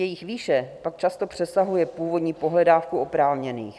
Jejich výše pak často přesahuje původní pohledávku oprávněných.